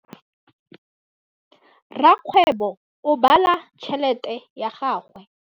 Rakgwêbô o bala tšheletê ya gagwe.